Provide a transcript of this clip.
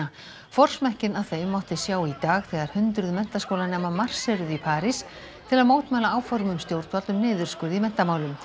forsmekkinn að þeim mátti sjá í dag þegar hundruð menntaskólanema marseruðu í París til að mótmæla áformum stjórnvalda um niðurskurð í menntamálum